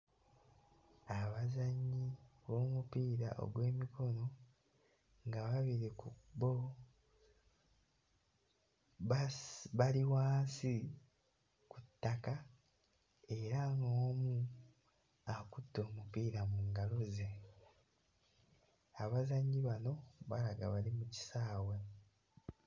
Abazannyi b'omupiira ogw'emikono ng'ababiri ku bo basi... bali wansi ku ttaka era nga omu akutte omupiira mu ngalo ze. Abazannyi bano balaga bali mu kisaawe.